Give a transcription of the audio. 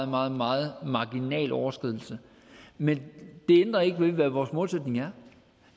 meget meget marginal overskridelse men det ændrer ikke ved hvad vores målsætning er